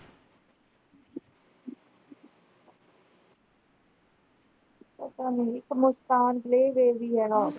ਪਤਾ ਮੈਨੂੰ ਇੱਕ ਮੁਸਕਾਨ play way ਵੀ ਹੈ ਨਾ।